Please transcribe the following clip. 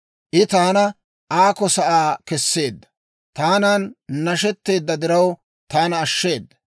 I taana aakko sa'aa kesseedda; taanan nashetteedda diraw, taana ashsheeda.